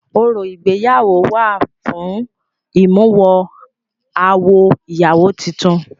Orò ìgbéyàwó wà fún ìmúwọ-awọ ìyàwó tutun.